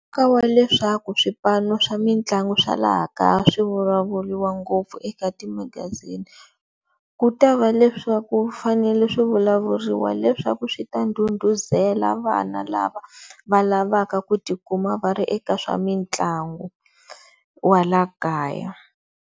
Ka wa leswaku swipanu swa mitlangu swa laha kaya swi vulavuliwa ngopfu eka timagazini, ku ta va leswaku fanele swi vulavuriwa leswaku swi ta ndhundhuzela vana lava va lavaku tikuma va ri eka swa mitlangu wa la kaya.